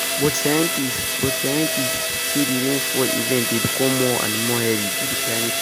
but scientists but scientists say di rainfall events dey become more and more heavy due to climate change.